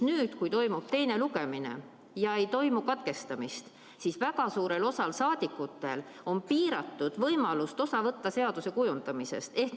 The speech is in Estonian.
Nüüd, kui toimub teine lugemine ja ei toimu katkestamist, on väga suurel osal saadikutel piiratud võimalust osa võtta seaduse kujundamisest.